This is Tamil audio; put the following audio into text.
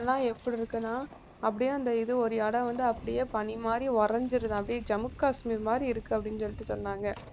எப்படி இருக்குன்னா அப்படியே அந்த இது ஓர் இடம் வந்து அப்படியே பனி மாதிரி உறைஞ்சிருதா அப்படியே ஜம்மு காஷ்மீர் மாதிரி இருக்கு அப்படின்னு சொல்லிட்டு சொன்னாங்க